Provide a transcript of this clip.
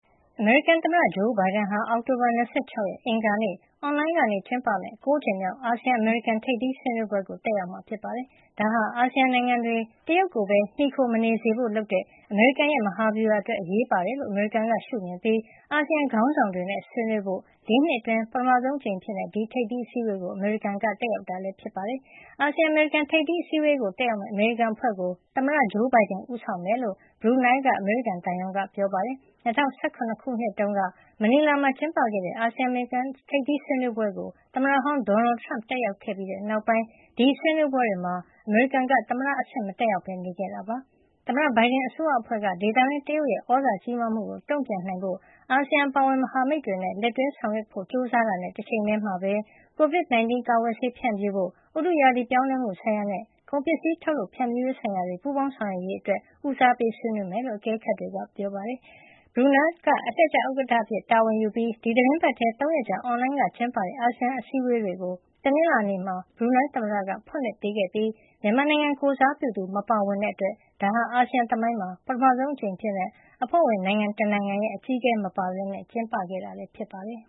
အမေရိကန်သမ္မတ ဂျိုးဘိုင်ဒန်ဟာ အောက်တိုဘာ၂၆ ရက် အင်္ဂါနေ့ အွန်လိုင်းကနေကျင်းပမယ့် ၉ ကြိမ်မြောက် အာဆီယံ- အမေရိကန် ထိပ်သီးဆွေးနွေးပွဲကို တက်ရောက်မှာ ဖြစ်ပါတယ်။ ဒါဟာ အာဆီယံနိုင်ငံတွေ တရုတ်ကိုပဲ မှီခိုမနေစေဖို့လုပ်တဲ့ အမေရိကန်ရဲ့ မဟာဗျူဟာအတွက် အရေးပါတယ်လို့ အမေရိကန်ကရှုမြင်ပြီး အာဆီယံခေါင်းဆောင်တွေနဲ့ ဆွေးနွေးဖို့ ၄ နှစ်အတွင်း ပထမဆုံး အကြိမ် ဒီထိပ်သီးအစည်းဝေးကို အမေရိကန်က တက်ရောက်တာ ဖြစ်ပါတယ်။ အာဆီယံ အမေရိကန် ထိပ်သီးအစည်းဝေးကို တက်ရောက်မယ့် အမေရိကန်အဖွဲ့ကို သမ္မတဂျိုးဘိုင်ဒန်က ဦးဆောင်မှာဖြစ်ကြောင်း ဘရူနိုင်းလ်က အမေရိကန်သံရုံးက ပြောပါတယ်။ ၂၀၁၇ ခုနှစ်တုန်းက မနီလာမှာ ကျင်းပတဲ့ အာဆီယံ- အမေရိကန်ထိပ်သီးဆွေးနွေးပွဲကို သမ္မတဟောင်း ဒေါ်နယ်ထရမ့် တက်ရောက်ခဲ့ပြီးတဲ့နောက်ပိုင်း ဒီဆွေးနွေးပွဲတွေမှာ အမေရိကန်က သမ္မတအဆင့် မတက်ရောက်ပဲ နေခဲ့တာဖြစ်ပါတယ်။ သမ္မတဘိုင်ဒန်အစိုးရအဖွဲ့က ဒေသတွင်း တရုတ်ရဲ့ သြဇာကြီးမားလာမှုကို တုန့်ပြန်နိုင်ဖို့ အာဆီယံအပါအဝင် မဟာမိတ်တွေနဲ့ လက်တွဲဆောင်ရွက်ဖို့ ကြိုးစားတာနဲ့ တချိန်ထည်းမှာပဲ ကိုဗစ် ၁၉ ကာကွယ်ဆေးဖြန့်ဖြူးဖို့၊ ဥတုရာသီပြောင်းလဲမှုဆိုင်ရာနဲ့ ကုန်ပစ္စည်းထုတ်လုပ်ဖြန့်ဖြူးရေး ဆိုင်ရာတွေမှာ ပူးပေါင်းဆောင်ရွက်ရေး အတွက် ဦးစားပေးလုပ်ဆောင်မှာ ဖြစ်ကြောင်း အကဲခတ်တွေက သုံးသပ်ကြပါတယ်။ ဘရူနိုင်းလ်က အလှည့်ကျ ဥက္ကဌ အဖြစ်တာဝန်ယူပြီး ဒီသီတင်းပတ်ထဲ ၃ ရက်ကြာ အွန်လိုင်းကကျင်းပတဲ့ အာဆီယံထိပ်သီး အစည်းဝေးတွေကို တနင်္လာနေ့မှာ ဘရူနိုင်းလ် သမ္မတက ဖွင့်လှစ်ပေးခဲ့ပြီး မြန်မာနိုင်ငံကိုယ်စားပြုသူ မပါဝင်တဲ့အတွက် ဒါဟာ အာဆီယံသမိုင်းမှာ ပထမဆုံးအကြိမ်အဖြစ် အဖွဲ့ဝင်နိုင်ငံတနိုင်ငံရဲ့ အကြီးအကဲမပါပဲ ကျင်းပတာ ဖြစ်ပါတယ်